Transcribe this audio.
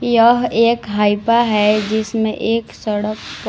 यह एक हाइपा है जिसमें एक सड़क का--